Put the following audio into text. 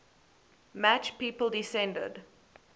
match people descended